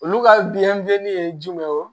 Olu ka biɲɛdimi ye jumɛn o